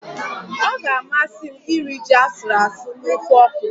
Ọ ga-amasị m iri ji asụrụ asụ na ofe okro